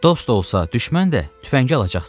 Dost olsa, düşmən də, tüfəngi alacaqsan.